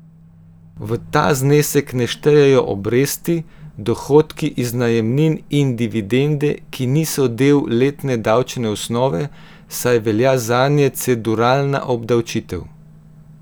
V ta znesek ne štejejo obresti, dohodki iz najemnin in dividende, ki niso del letne davčne osnove, saj velja zanje cedularna obdavčitev.